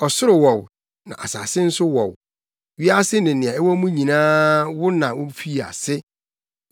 Ɔsoro wɔ wo, na asase nso wɔ wo; wiase ne nea ɛwɔ mu nyinaa wo na wufii ase.